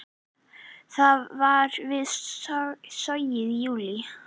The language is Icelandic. Það var við Sogið í júlí.